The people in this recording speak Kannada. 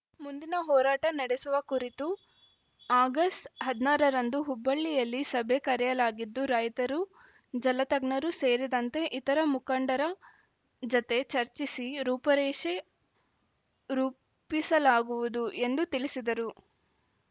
ಮುಂದಿನ ಹೋರಾಟ ನಡೆಸುವ ಕುರಿತು ಆಗಸ್ಟ್ ಹದಿನಾರ ರಂದು ಹುಬ್ಬಳ್ಳಿಯಲ್ಲಿ ಸಭೆ ಕರೆಯಲಾಗಿದ್ದು ರೈತರು ಜಲತಜ್ಞರು ಸೇರಿದಂತೆ ಇತರೆ ಮುಖಂಡರ ಜತೆ ಚರ್ಚಿಸಿ ರೂಪರೇಷೆ ರೂಪಿಸಲಾಗುವುದು ಎಂದು ತಿಳಿಸಿದರು